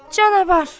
Canavar!